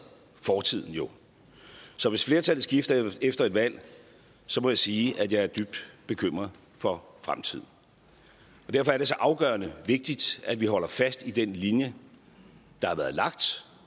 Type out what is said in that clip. fortiden jo så hvis flertallet skifter efter et valg må jeg sige at jeg er dybt bekymret for fremtiden og derfor er det så afgørende vigtigt at vi holder fast i den linje der har været lagt